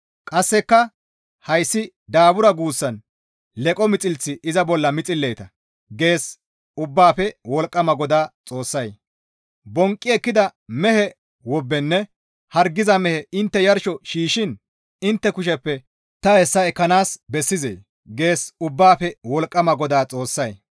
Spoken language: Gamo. Qasseka, ‹Hayssi daabura› guussan leqo mixilth iza bolla mixilleeta» gees Ubbaafe Wolqqama GODAA Xoossay. «Bonqqi ekkida mehe wobbenne hargiza mehe intte yarsho shiishshiin intte kusheppe ta hessa ekkanaas bessizee?» gees Ubbaafe Wolqqama GODAA Xoossay.